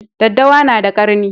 Daddawa na da ƙarni